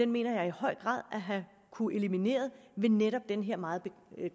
mener jeg i høj grad at have kunnet eliminere med netop den her meget